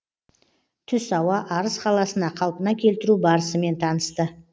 түс ауа арыс қаласына қалпына келтіру барысымен танысты